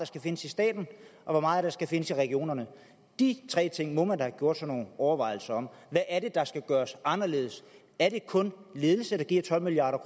skal findes i staten og hvor meget er skal findes i regionerne de tre ting må man da have gjort sig nogle overvejelser om hvad er det der skal gøres anderledes er det kun ledelse der giver tolv milliard